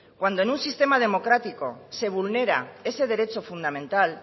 cuando en un sistema democrático se vulnera ese derecho fundamental